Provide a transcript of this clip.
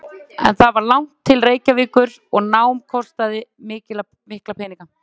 En það var langt til Reykjavíkur og nám kostaði mikla peninga.